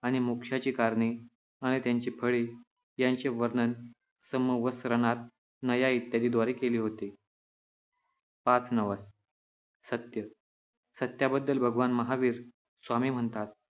आणि मोक्षाची कारणे आणि त्यांची फळे यांचे वर्णन समवसरणात, नया इत्यादीद्वारे केले होते. पाच नवस सत्य - सत्याबद्दल भगवान महावीर स्वामी म्हणतात,